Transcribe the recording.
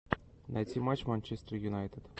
найти матч манчестер юнайтед